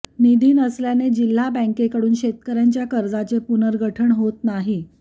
निधी नसल्याने जिल्हा बँकेकडून शेतकऱ्यांच्या कर्जाचे पुनर्गठन होत नाही